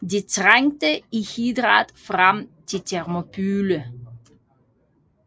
De trængte uhindret frem til Thermopylæ